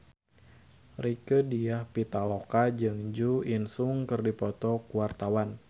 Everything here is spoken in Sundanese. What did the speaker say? Rieke Diah Pitaloka jeung Jo In Sung keur dipoto ku wartawan